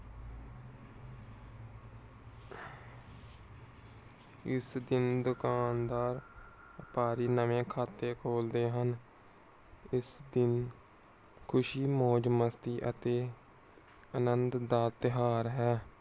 ਇਸ ਦਿਨ ਦੁਕਾਨਦਾਰ ਵਪਾਰੀ ਨਵੇਂ ਖਾਤੇ ਖੋਲਦੇ ਹਨ। ਇਸ ਦਿਨ ਖੁਸ਼ੀ ਮੌਜ ਮਸਤੀ ਅਤੇ ਆਨੰਦ ਦਾ ਤਿਯੋਹਾਰ ਹੈ।